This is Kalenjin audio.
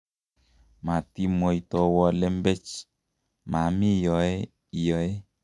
matimwaitowo lembech maami yoe iyoe